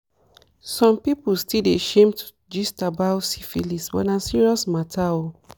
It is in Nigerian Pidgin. some people still dey shame to gist about syphilis but na serious matter oo